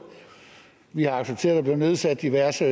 vi har accepteret at der blev nedsat diverse